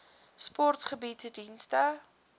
sport bied dienste